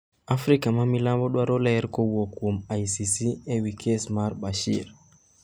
Afrika ma milambo dwaro ler kowuok kuom ICC ewi kes mar Bashir